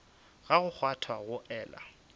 sa go kgwatha go ela